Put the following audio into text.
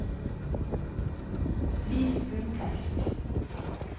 Vis bunntekst